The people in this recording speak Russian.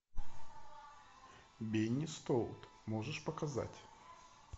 бенни стоут можешь показать